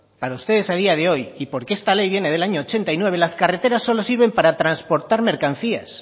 para ustedes a día de hoy y porque esta ley viene del año mil novecientos ochenta y nueve las carreteras solo sirven para transportar mercancías